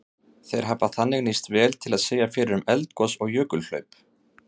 Þeir hafa þannig nýst vel til að segja fyrir um eldgos og jökulhlaup.